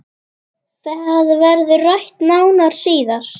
Það verður rætt nánar síðar